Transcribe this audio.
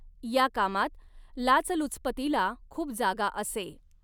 या कामात लाचलुचपतीला खूप जागा असे.